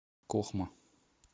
кохма